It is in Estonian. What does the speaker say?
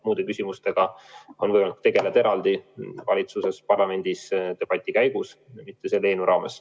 Muude küsimustega tegeletakse eraldi valitsuses ja parlamendis debati käigus, aga mitte selle eelnõu raames.